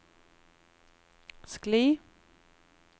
skli